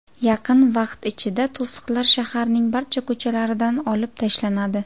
Yaqin vaqt ichida to‘siqlar shaharning barcha ko‘chalaridan olib tashlanadi.